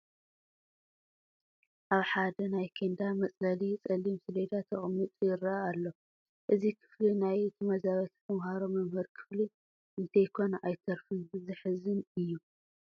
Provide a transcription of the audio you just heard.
ኣብ ሓደ ናይ ኬንዳ መፅለሊ ፀሊም ሰሌዳ ተቐሚጡ ይርአ ኣሎ፡፡ እዚ ክፍሊ ናይ ተመዛበልቲ ተመሃሮ መምሃሪ ክፍሊ እንተይኮነ ኣይተርፍን፡፡ ዘሕዝን እዩ፡፡